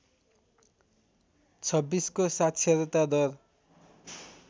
२६को साक्षरता दर